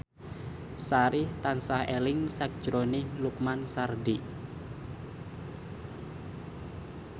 Sari tansah eling sakjroning Lukman Sardi